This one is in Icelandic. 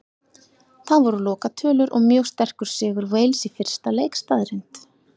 Það voru lokatölur og mjög sterkur sigur Wales í fyrsta leik staðreynd.